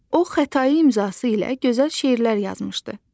O Xətai imzası ilə gözəl şeirlər yazmışdı.